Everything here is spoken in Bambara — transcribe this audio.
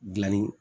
Gilanni